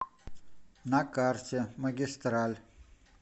на карте магистраль